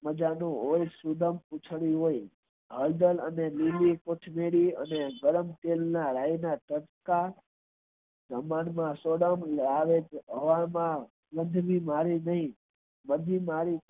માજા નું હળદર અને લીલી કોથમરી અને ગરમ તેલ ના રાય ના કટકા આવે છે બધી નારી ઓ